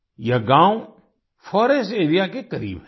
यह गाँव forest area के करीब है